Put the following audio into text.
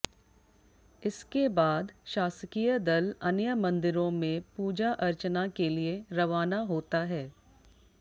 इसके बाद शासकीय दल अन्य मंदिरों में पूजा अर्चना के लिए रवाना होता है